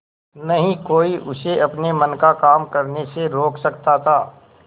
न ही कोई उसे अपने मन का काम करने से रोक सकता था